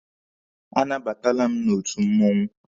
A nabatala m n'otu mmụọnwụ.